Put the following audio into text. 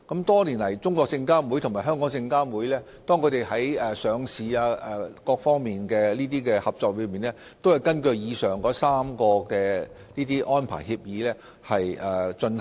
多年來，中證監與證監會在上市等各方面的合作，均根據以上3份合作安排協議進行。